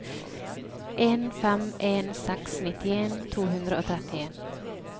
en fem en seks nittien to hundre og trettien